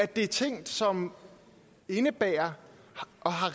det er ting som indebærer